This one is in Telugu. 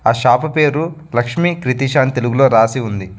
షాపు పేరు లక్ష్మి క్రితిషా అన్ని తెలుగులో రాసి ఉంది.